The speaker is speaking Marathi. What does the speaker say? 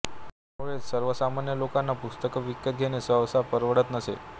त्यामुळेच सर्वसामान्य लोकांना पुस्तके विकत घेणे सहसा परवडत नसे